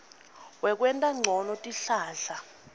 wekwenta ncono tihlahla